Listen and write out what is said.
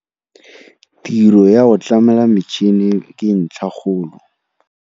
Tiro ya go tlamela metšhene ke ntlhakgolo.